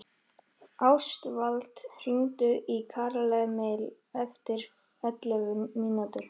Ástvald, hringdu í Karlemil eftir ellefu mínútur.